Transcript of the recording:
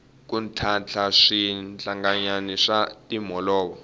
ku ntlhantlha swirhalanganyi swa timholovo